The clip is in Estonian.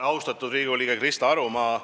Austatud Riigikogu liige Krista Aru!